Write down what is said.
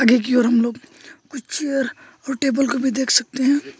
खिड़की और हमलोग कुछ चेयर और टेबल को भी देख सकते हैं।